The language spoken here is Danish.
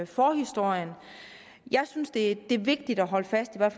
forhistorien jeg synes det er vigtigt at holde fast